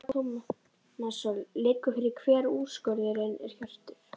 Telma Tómasson: Liggur fyrir hver úrskurðurinn er Hjörtur?